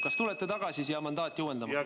Kas tulete tagasi siia mandaati uuendama?